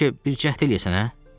Bəlkə bir cəhd eləyəsən, hə?